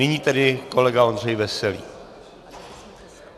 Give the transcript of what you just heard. Nyní tedy kolega Ondřej Veselý.